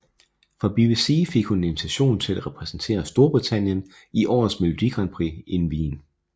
Fra BBC fik hun en invitation til at repræsentere Storbritannien i årets Melodigrandprix in Wien